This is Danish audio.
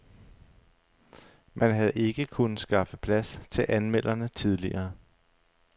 Man havde ikke kunnet skaffe plads til anmelderne tidligere.